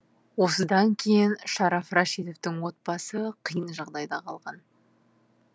осыдан кейін шараф рашидовтың отбасы қиын жағдайда қалған